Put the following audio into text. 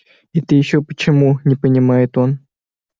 это ещё почему не понимает он